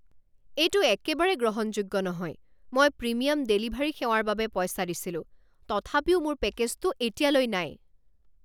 এইটো একেবাৰে গ্ৰহণযোগ্য নহয়! মই প্ৰিমিয়াম ডেলিভাৰী সেৱাৰ বাবে পইচা দিছিলো, তথাপিও মোৰ পেকেজটো এতিয়ালৈ নাই!